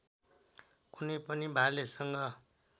कुनै पनि भालेसँग